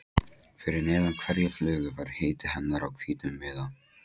Fyrir neðan hverja flugu var heiti hennar á hvítum miða.